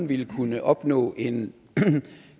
ville kunne opnå en